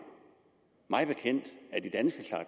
mig bekendt